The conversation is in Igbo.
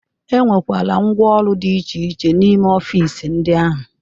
E nwekwara ngwooru dị iche iche n'ime ọfịs ndị ahụ.